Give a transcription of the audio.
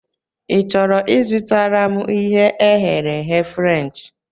Ị chọrọ I zụtara m ihe e ghere eghe Frenchị?